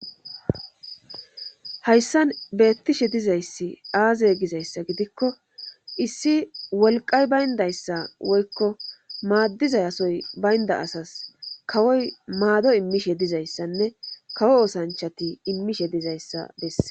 hayssan beettishe dizayssi aaze gizayssa gidikko issi wolqay bayndayssa woykko maaddiza asoy baynda asas kawoy maado immishe dizayssanne kawo osanchati immishe dizayssa besse